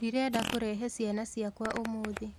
Ndĩrenda kũrehe ciana ciakwa ũmũthĩ